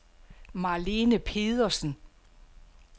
Marlene Pedersen